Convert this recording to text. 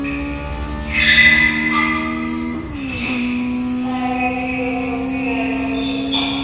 ਐਂ ਕਹਿੰਦੀ ਆ ਓਦੀ ਮੰਮੀ ਐਂ ਕਹਿੰਦੀ ਆ l